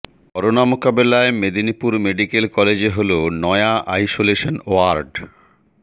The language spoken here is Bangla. করোনা মোকাবিলায় মেদিনীপুর মেডিকেল কলেজে হল নয়া আইসোলেশন ওয়ার্ড